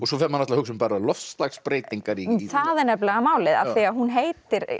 svo fer maður að hugsa um loftslagsbreytingar það er nefnilega málið af því hún heitir